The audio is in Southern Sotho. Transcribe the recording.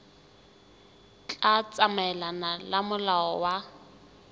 tla tsamaelana le molao wa